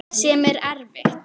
Sem er erfitt.